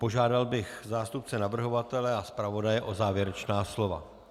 Požádal bych zástupce navrhovatele a zpravodaje o závěrečná slova.